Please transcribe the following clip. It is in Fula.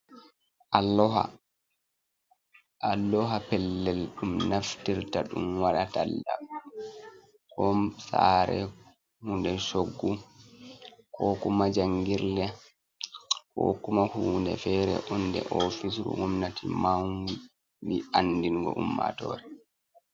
Alloha. Alloha pellel ɗum naftirta ɗum waɗa talla, kom sare ko hunde shoggu ko kuma jangirle, ko kuma hunde fere onde ofisru gomnati maubi andingo ummatore.